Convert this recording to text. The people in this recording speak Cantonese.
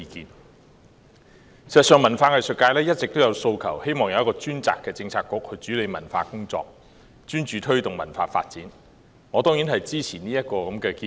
事實上，文化藝術界一直有訴求，希望有一個專責的政策局主理文化工作，專注推動文化發展，我當然支持這項建議。